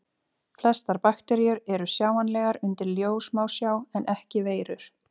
Flestar bakteríur eru sjáanlegar undir ljóssmásjá en ekki veirur.